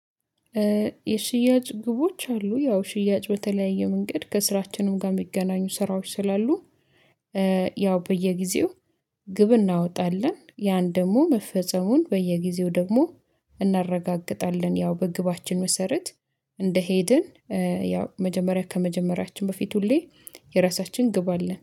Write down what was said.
የሽያጭ ግቦች አሉ ያው ሽያጭ በተለያየ መንገድ ከስራችንም ጋር የሚገናኙ ስራዎች ስላሉ። ያው በየጊዜው ግብ እናወጣለን ያን ደግሞ መፈጸሙን በየጊዜው ደግሞ እናረጋግጣለን። ያው በግባችን መሰረት እንደሄድን። ያው መጀመሪያ ከመጀመሪያችን በፊት ሁሌ የራሳችን ግብ አለን